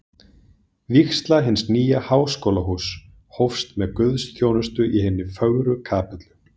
Vígsla hins nýja Háskólahúss hófst með guðsþjónustu í hinni fögru kapellu